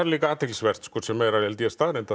líka athyglisvert sem er held ég staðreynd að